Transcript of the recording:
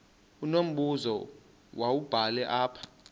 unombuzo wubhale apha